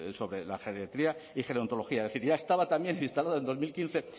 sobre la geriatría y gerontología es decir ya estaba también instalada en dos mil quince